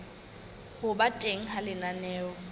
ho ba teng ha lenaneo